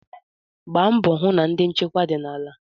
Gbaa mbọ hụ na ndi nchekwa dị n'ala.